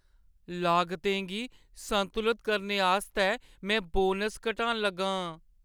लागतें गी संतुलत करने आस्तै में बोनस घटान लगा आं।